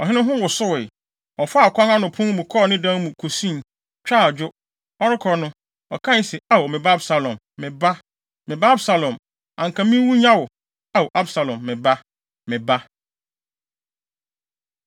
Ɔhene ho wosowee. Ɔfaa ɔkwan ano pon no mu kɔɔ ne dan mu kosui, twaa adwo. Ɔrekɔ no, ɔkae se, “Ao, me ba Absalom! Me ba, me ba Absalom! Anka minwu nnya wo! Ao, Absalom, me ba, me ba!”